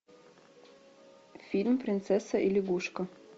фильм принцесса и лягушка